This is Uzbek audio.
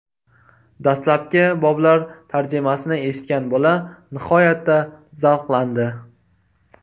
Dastlabki boblar tarjimasini eshitgan bola nihoyatda zavqlandi.